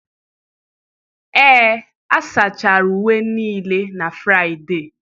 Ee, a sachara uwe niile na Fraịde.